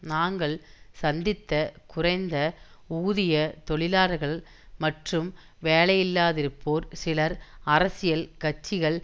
நாங்கள் சந்தித்த குறைந்த ஊதிய தொழிலாளர்கள் மற்றும் வேலையில்லாதிருப்போர் சிலர் அரசியல் கட்சிகள்